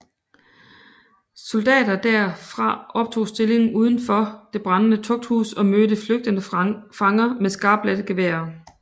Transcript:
Soldater derfra tog opstilling udenfor det brændende tugthus og mødte flygtende fanger med skarpladte geværer